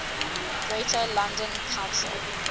greater london council